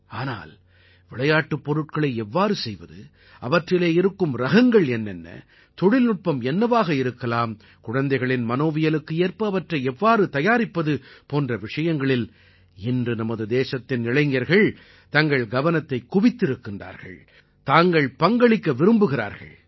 ஆனால் விளையாட்டுப் பொருட்களை எவ்வாறு செய்வது அவற்றிலே இருக்கும் ரகங்கள் என்ன தொழில்நுட்பம் என்னவாக இருக்கலாம் குழந்தைகளின் மனோவியலுக்கு ஏற்ப அவற்றை எவ்வாறு தயாரிப்பது போன்ற விஷயங்களின் இன்று நமது தேசத்தின் இளைஞர்கள் தங்கள் கவனத்தைக் குவித்திருக்கிறார்கள் தாங்கள் பங்களிக்க விரும்புகிறார்கள்